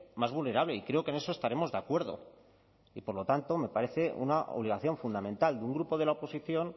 más vulnerable y creo que en eso estaremos de acuerdo y por lo tanto me parece una obligación fundamental de un grupo de la oposición